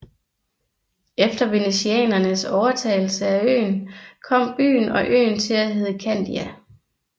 Efter venetianernes overtagelse af øen kom byen og øen til at hedde Candia